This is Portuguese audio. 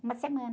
Uma semana.